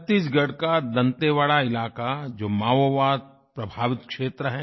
छत्तीसगढ़ का दंतेवाड़ा इलाक़ा जो माओवादप्रभावित क्षेत्र है